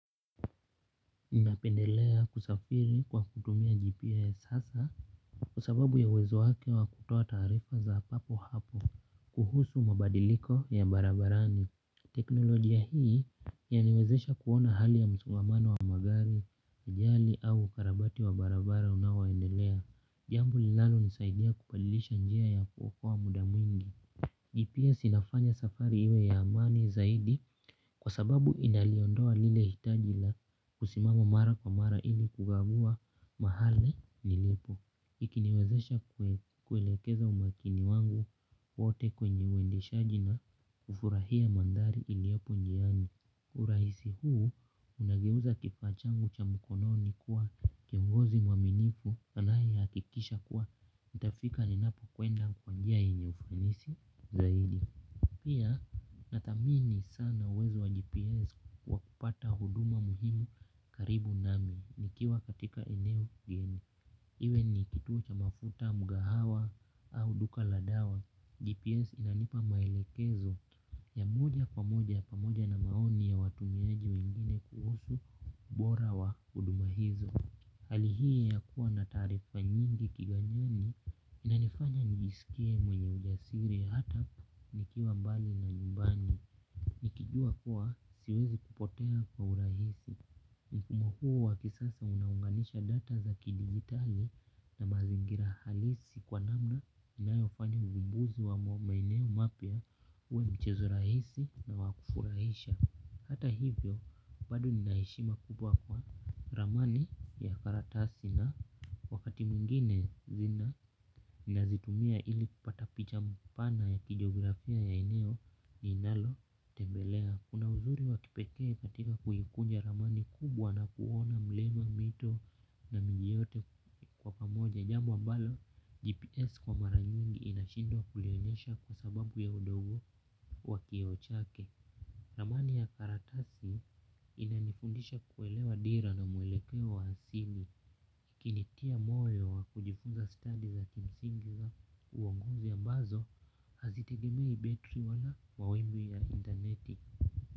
Ninapendelea kusafiri kwa kutumia gps hasa kwa sababu ya uwezo wake wa kutoa taarifa za papo hapo kuhusu mabadiliko ya barabarani teknolojia hii yaniwezesha kuona hali ya msongamano wa magari ajali au ukarabati wa barabara unaoendelea jambo linalonisaidia kubadilisha njia ya kuokoa muda mwingi gps inafanya safari iwe ya amani zaidi. Kwa sababu inaliondoa lile hitaji la kusimama mara kwa mara ili kugagua mahali nilipo ikiniwezesha kuelekeza umakini wangu wote kwenye uendeshaji na kufurahia mandhari iliopo njiani. Urahisi huu unageuza kifaa changu cha mkononi kuwa kiongozi mwaminifu anayehakikisha kuwa nitafika ninapokwenda kwa njia yenye ufanisi zaidi. Pia nathamini sana uwezo wa GPS kwa kupata huduma muhimu karibu nami nikiwa katika eneo geni. Iwe ni kituo cha mafuta mkahawa au duka la dawa. GPS inanipa maelekezo ya moja kwa moja pamoja na maoni ya watumiaji wengine kuhusu ubora wa huduma hizo. Hali hii inakuwa na taarifa nyingi kiganjani inanifanya nijisikie mwenye ujasiri hata nikiwa mbali na nyumbani nikijua kuwa siwezi kupotea kwa urahisi. Mfumo huu wa kisasa unaunganisha data za kidigitali na mazingira halisi kwa namna inayofanya uvumbuzi wa maeneo mapya uwe mchezo rahisi na wa kufurahisha. Hata hivyo, bado nina heshima kubwa kwa ramani ya karatasi na wakati mwingine zina nazitumia ili kupata picha mpana ya kijiografia ya eneo ninalotembelea. Kuna uzuri wa kipekee katika kuikunja ramani kubwa na kuona mlima mito na mji yote kwa pamoja jambo ambalo GPS kwa mara nyingi inashindwa kulionyesha kwa sababu ya udogo wa kioo chake. Ramani ya karatasi inanifundisha kuelewa dira na mwelekeo wa asili ikinitia moyo wa kujifunza stadi za kimsingi za uongozi ambazo hazitegemei betri wala mawimbi ya interneti.